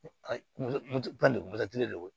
de do